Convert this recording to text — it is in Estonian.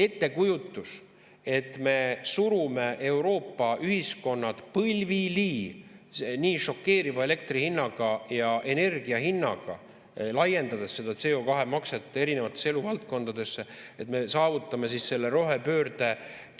Ettekujutus, et me surume Euroopa ühiskonnad põlvili nii šokeeriva elektri hinnaga ja energia hinnaga, laiendades seda CO2-makset erinevatesse eluvaldkondadesse, ning saavutame siis selle rohepöörde